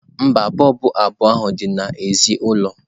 mba, bọlbụ abụọ ahụ dị n'èzí ụlọ.